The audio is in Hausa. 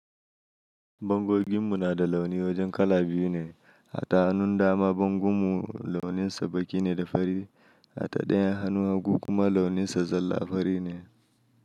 Bangonginmu na da launi wajen kala biyu ne. Da hannun dama bangon mu launinsa baƙi ne da fari, hata ɗayan hannu hagu kuma launinsa zalla fari ne.